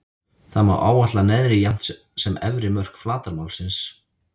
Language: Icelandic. Þá má áætla neðri jafnt sem efri mörk flatarmálsins.